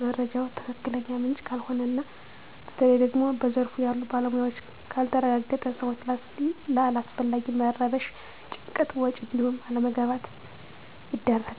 መረጃው ከትክክለኛ ምንጭ ካልሆነ እና በተለይ ደግሞ በዘርፉ ያሉ ባለሞያዎች ካልተረጋገጠ ሰወች ለአላስፈላጊ መረበሽ፣ ጭንቀት፣ ወጭ እንዲሁም አለመግባባት ይዳረጋሉ።